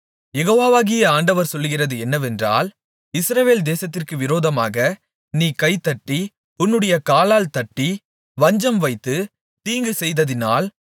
யெகோவாகிய ஆண்டவர் சொல்லுகிறது என்னவென்றால் இஸ்ரவேல் தேசத்திற்கு விரோதமாக நீ கை தட்டி உன்னுடைய காலால் தட்டி வஞ்சம் வைத்து தீங்கு செய்ததினால்